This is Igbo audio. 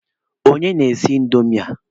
Onye na-esi indomi ahụ?